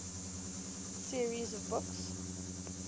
series of books